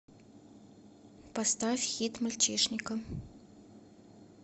поставь хит мальчишника